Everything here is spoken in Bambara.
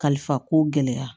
Kalifa ko gɛlɛya